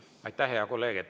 Aitäh, hea kolleeg!